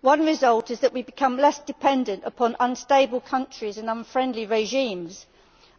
One result is that we become less dependent upon unstable countries and unfriendly regimes.